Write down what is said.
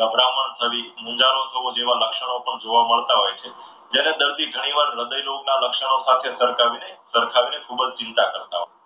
ગભરામણ થવી, મૂંઝારો થવો, જેવા લક્ષણો પણ જોવા મળતા હોય છે. જ્યારે દર્દી ઘણીવાર હૃદયનો ના લક્ષણો સાથે સરખાવીને ખૂબ જ ચિંતા કરતા હોય છે.